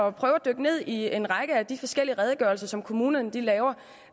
at prøve at dykke ned i en række af de forskellige redegørelser som kommunerne laver